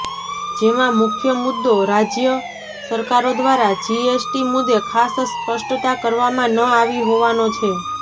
જેમાં મુખ્ય મુદ્દો રાજય સરકારો દ્વારા જીએસટી મુદ્દે ખાસ સ્પષ્ટતા કરવામાં ન આવી હોવાનો છે